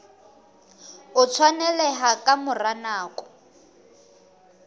o tshwaneleha ka mora nako